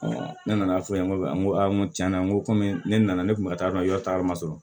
ne nana fɔ n ye tiɲɛna n komi ne nana ne kun bɛ taa dɔn ta ma sɔrɔ